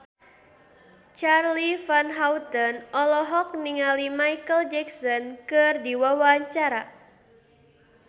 Charly Van Houten olohok ningali Micheal Jackson keur diwawancara